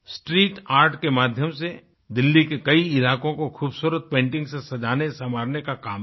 street art के माध्यम से दिल्ली के कई इलाकों कोखूबसूरत पेंटिंग्स से सजानेसंवारने का काम किया